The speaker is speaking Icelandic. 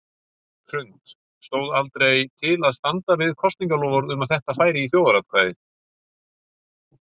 Hrund: Stóð aldrei til að standa við kosningaloforð um að þetta færi í þjóðaratkvæði?